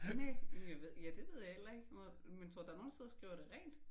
Næ men jeg ved ja det ved jeg heller ikke. Men tror du der er nogen der sidder og skriver det rent?